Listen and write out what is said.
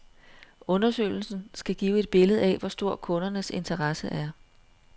Undersøgelsen skal give et billede af, hvor stor kundernes interesse er.